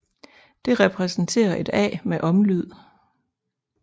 Det repræsenterer et a med omlyd